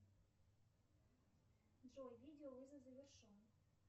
джой видеовызов завершен